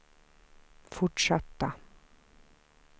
fortsatta